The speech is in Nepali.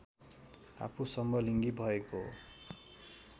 आफू समलिङ्गी भएको